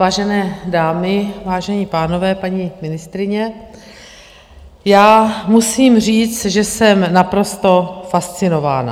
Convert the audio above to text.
Vážené dámy, vážení pánové, paní ministryně, já musím říct, že jsem naprosto fascinována.